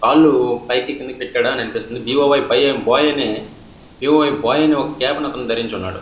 కాళ్ళు పైకి కిందకి పెట్టాడు అనిపిస్తుంది బి_ఓ _వై బాయ్ అనే క్యాప్ ని అతను ధరించి ఉన్నాడు.